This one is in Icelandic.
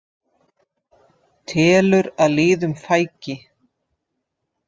Telur að liðum fækki